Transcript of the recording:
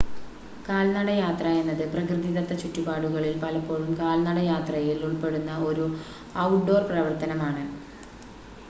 കാൽനടയാത്ര എന്നത് പ്രകൃതിദത്ത ചുറ്റുപാടുകളിൽ പലപ്പോഴും കാൽനടയാത്രയിൽ ഉൾപ്പെടുന്ന ഒരു ഔട്ട് ഡോർ പ്രവർത്തനമാണ്